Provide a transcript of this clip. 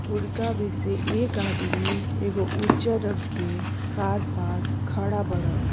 उड़का में से एक आदमी एगो उजर रंग के कार पास खड़ा बाड़न।